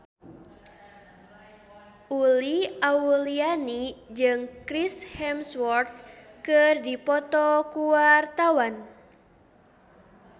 Uli Auliani jeung Chris Hemsworth keur dipoto ku wartawan